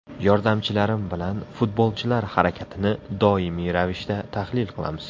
Yordamchilarim bilan futbolchilar harakatini doimiy ravishda tahlil qilamiz.